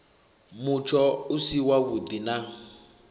mutsho u si wavhuḓi na